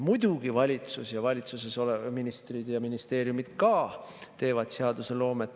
Muidugi, valitsus, valitsuses olevad ministrid ja ministeeriumid ka teevad seadusloomet.